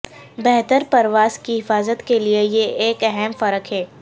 بہتر پرواز کی حفاظت کے لئے یہ ایک اہم فرق ہے